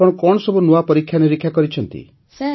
ଆପଣ କଣ ସବୁ ନୂଆ ପରୀକ୍ଷାନିରୀକ୍ଷା କରିଛନ୍ତି